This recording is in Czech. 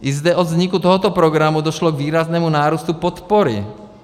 I zde od vzniku tohoto programu došlo k výraznému nárůstu podpory.